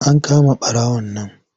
An kama ɓarawon nan.